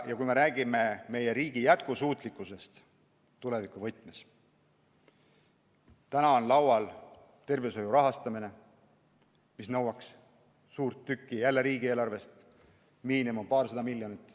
Ja kui me räägime meie riigi jätkusuutlikkusest tulevikuvõtmes, siis praegu on laual tervishoiu rahastamine, mis nõuab suurt tükki riigieelarvest: miinimum paarsada miljonit.